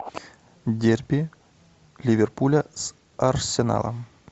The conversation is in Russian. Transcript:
дерби ливерпуля с арсеналом